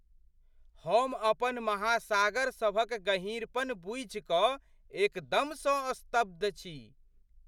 हम अपन महासागर सभक गहींरपन बूझिकऽ एकदमसँ स्तब्ध छी!